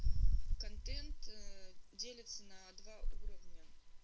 контент делится на два уровня